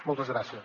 moltes gràcies